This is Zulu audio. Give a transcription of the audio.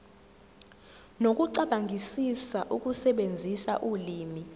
nokucabangisisa ukusebenzisa ulimi